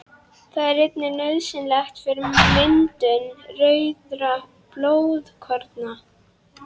Það er einnig nauðsynlegt fyrir myndun rauðra blóðkorna.